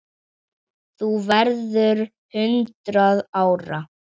Þú verður hundrað ára.